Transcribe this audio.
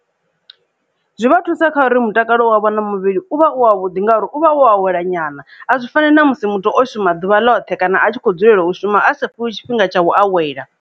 Zwi vha thusa kha uri mutakalo wavho na muvhili u vha u wa vhuḓi ngauri u vha wa a wela nyana a zwi fani na musi muthu o shuma ḓuvha ḽoṱhe kana a tshi kho dzulela u shuma a sa fhiwi tshifhinga tsha u awela.